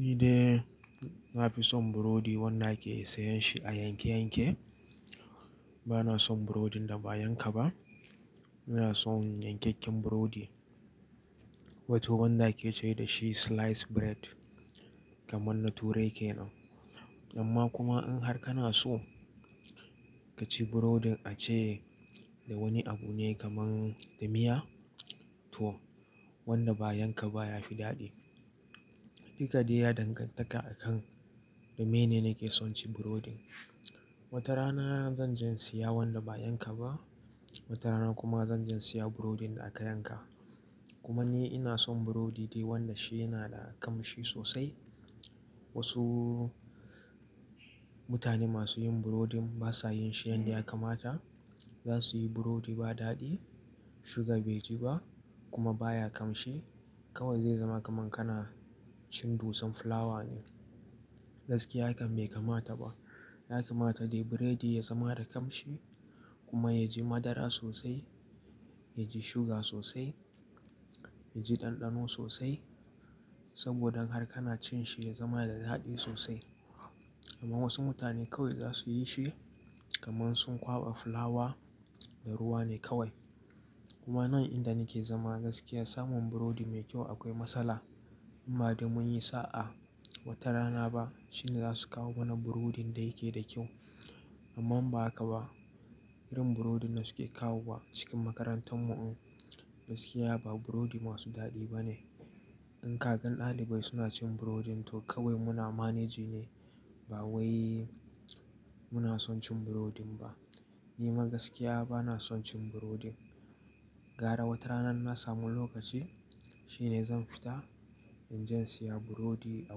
Ni dai na fi son burodi wanda ake sayan shi a yanke yanke. Bana son burodin da ba yanka ba. Ina son yankyakin burodi, wato wanda ake cewa da shi sliced bread kamar na turai ke nan. Amma kuma in har kana so ka ci burodin a ci da wani abu ne kamar da miya to wanda ba yanka ba ya fi daɗi. Duka dai ya dangantaka a kan dome ne nake son cin burodin. Wata rana zan je siya wanda ba yanka ba, wata rana kuma zan je siya burodin da aka yanka. Kuma ni ina son burodi dai wanda shi yana da kamshi sosai. Wasu mutane masu yin burodin ba sa yin shi yadda ya kamata. Za su yi burodi ba daɗi, suga bai ji ba kuma ba ya kamshi. Kawai zai zama kamar kana cin dusan fulawa ne. Gaskiya hakan bai kamata ba. Ya kamata dai biredi ya zama da kamshi kuma ya ji madara sosai, ya ji suga sosai, ya ji ɗanɗano sosai saboda in har kana cin shi ya zama da daɗi sosai. Amma wasu mutane kawai za su yi shi kamar sun kwaɓa fulawa da ruwa ne kawai. Kuma nan inda nake zama gaskiya samun burodi mai kyau akwai matsala. Amma dai mun yi sa'a wata rana ba shine za su kawo mana burodin da yake da kyau. Amma in ba haka ba. Irin burodin da suke kawowa cikin makarantar mu gaskiya ba burodi masu daɗi ba ne. In kagan ɗalibai suna cin burodin to kawai muna managing ne ba wai muna son cin burodin ba. Ni ma gaskiya bana son cin burodin. Gara wata rana na samu lokaci shine zan fita in je siya burodi a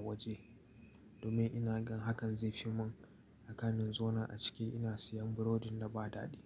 waje. Dome ina gan hakan zai fi mun kafin zauna a cike ina siyan burodin da ba daɗi.